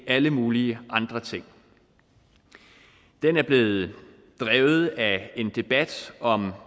alle mulige andre ting den er blevet drevet af en debat om